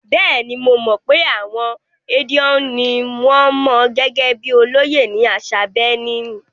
Bẹ́ẹ̀ni, mo mọ̀ pé àwọn Edion ni wọn mọ̀ gẹ́gẹ́ bíi olóyè ní àṣà Benin.